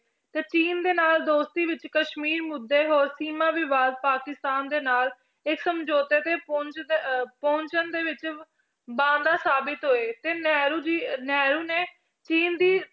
ਤੇ ਚੀਨ ਦੇ ਨਾਲ ਦੋਸਤੀ ਵਿੱਚ ਕਸ਼ਮੀਰ ਮੁੱਦੇ ਹੋਰ ਸੀਮਾ ਵਿਵਾਦ ਪਾਕਿਸਤਾਨ ਦੇ ਨਾਲ ਇਸ ਸਮਝੋਤੇ ਤੇ ਪਹੁੰਚ ਦਾ ਪਹੁੰਚਣ ਦੇ ਵਿੱਚ ਸਾਬਿਤ ਹੋਏ ਤੇ ਨਹਿਰੂ ਜੀ ਨਹਿਰੂ ਨੇ ਚੀਨ ਦੀ